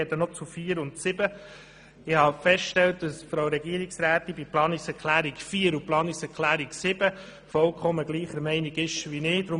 Ich habe festgestellt, dass Frau Regierungsrätin Egger bei diesen Planungserklärungen vollkommen gleicher Meinung ist wie ich.